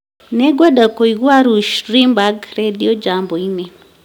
nĩ ngwenda kũigua rush limbaugh rĩndiũ jambo-inĩ